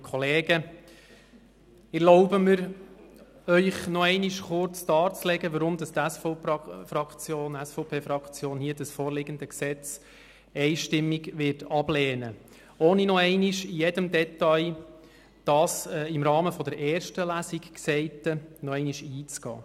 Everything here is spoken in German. Ich erlaube mir, Ihnen noch einmal kurz darzulegen, weshalb die SVP-Fraktion das hier vorliegende Gesetz einstimmig ablehnen wird, ohne noch einmal im Detail auf das im Rahmen der ersten Lesung Gesagte einzugehen.